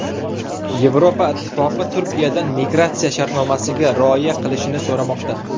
Yevropa ittifoqi Turkiyadan migratsiya shartnomasiga rioya qilishini so‘ramoqda.